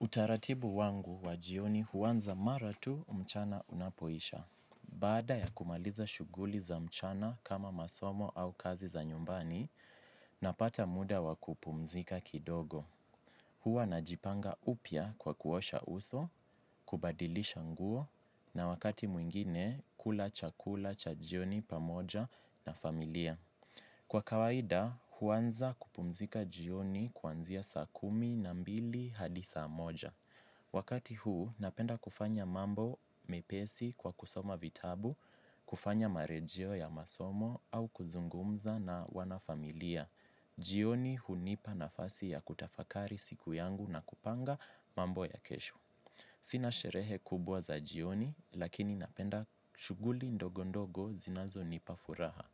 Utaratibu wangu wa jioni huwanza mara tu mchana unapoisha. Baada ya kumaliza shughuli za mchana kama masomo au kazi za nyumbani, napata muda wa kupumzika kidogo. Huwa na jipanga upya kwa kuosha uso, kubadilisha nguo na wakati mwingine kula cha kula cha jioni pamoja na familia. Kwa kawaida huanza kupumzika jioni kuanzia saa kumi na mbili hadi saa moja. Wakati huu, napenda kufanya mambo mepesi kwa kusoma vitabu, kufanya marejeo ya masomo au kuzungumza na wanafamilia. Jioni hunipa nafasi ya kutafakari siku yangu na kupanga mambo ya kesho. Sina sherehe kubwa za jioni, lakini napenda shughuli ndogondogo zinazo nipafuraha.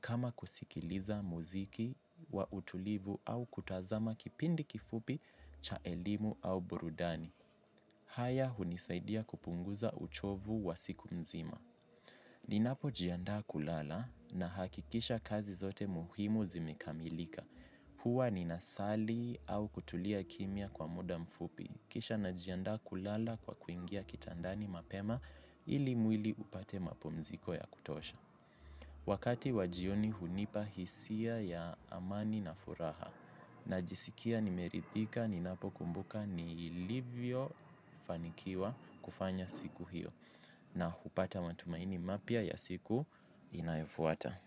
Kama kusikiliza muziki wa utulivu au kutazama kipindi kifupi cha elimu au burudani. Haya hunisaidia kupunguza uchovu wa siku mzima. Ninapo jiandaa kulala nahakikisha kazi zote muhimu zimekamilika. Huwa ninasali au kutulia kimya kwa muda mfupi. Kisha najiandaa kulala kwa kuingia kitandani mapema ili mwili upate mapumziko ya kutosha. Wakati wa jioni hunipa hisia ya amani na furaha na jisikia nimerithika ni napo kumbuka ni ilivyo fanikiwa kufanya siku hiyo na hupata matumaini mapya ya siku inayofuata.